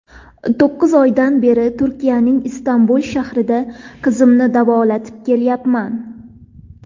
To‘qqiz oydan beri Turkiyaning Istanbul shahrida qizimni davolatib kelyapman.